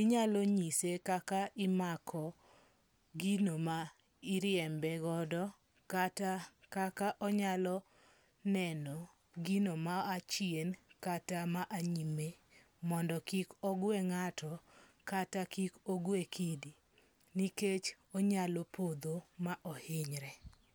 inyalo nyise kaka imako gino ma iriembegodo kata kaka onyalo neno gino ma a chien kata ma a nyime mondo kik ogwe ng'ato kata kik ogwe kidi. Nikech onyalo podho ma ohinyre.